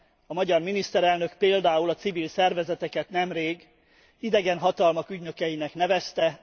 A magyar miniszterelnök például a civil szervezeteket nemrég idegen hatalmak ügynökeinek nevezte.